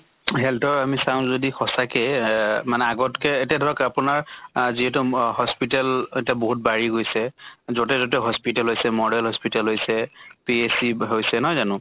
heath ৰ আমি চাওঁ যদি সঁচা কে এহ মানে আগতকে এতিয়া ধৰক আপোনাৰ আহ যিহেতু ম hospital এতিয়া বহুত বাঢ়ি গৈছে। যʼতে তʼতে hospital হৈছে, model hospital হৈছে, PHC হৈছে নহয় জানো।